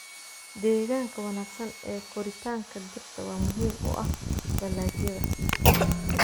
Deegaanka wanaagsan ee koritaanka dhirta waa muhiim u ah dalagyada.